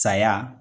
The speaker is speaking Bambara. Saya